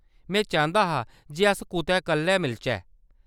में चांह्‌‌‌दा हा जे अस कुतै कल्ले मिलचै।